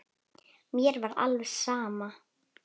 Mér var alveg sama.